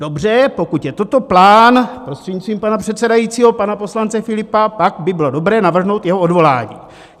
Dobře, pokud je toto plán, prostřednictvím pana předsedajícího, pana poslance Filipa, pak by bylo dobré navrhnout jeho odvolání.